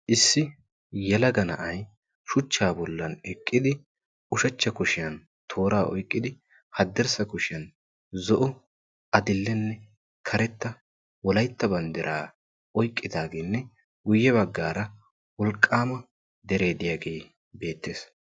Issi yelaga na'aiyshuchchaa bollan eqqidi ushachcha kushiyan tooraa oyqqidi haddirssa kushiyan zo'o adi'lene karetta wolaytta banddiraa oyqqidaagenne guyye baggaara wolqqaama deree diyaagee beettees.